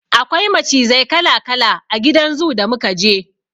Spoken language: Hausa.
Akwai macizai kala-kala a gidan zoo da muka je.